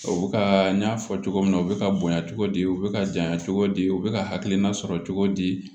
U bɛ ka n y'a fɔ cogo min na u bɛ ka bonya cogo di u bɛ ka janya cogo di u bɛ ka hakilina sɔrɔ cogo di